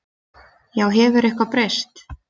Já, hefur eitthvað breyst?